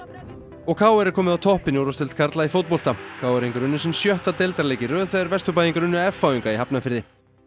og k r er komið á toppinn í úrvalsdeild karla í fótbolta k r ingar unnu sinn sjötta deildarleik í röð þegar Vesturbæingar unnu f h Inga í Hafnarfirði